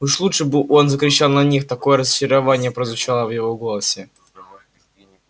уж лучше бы он закричал на них такое разочарование прозвучало в его голосе